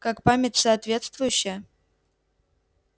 как память соответствующая